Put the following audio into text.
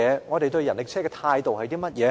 我們對人力車的態度是甚麼？